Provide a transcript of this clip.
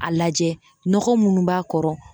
A lajɛ nɔgɔ munnu b'a kɔrɔ